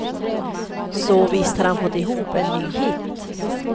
Så visst har han fått ihop en ny hit.